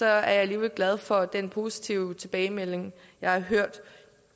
jeg alligevel glad for den positive tilbagemelding jeg har hørt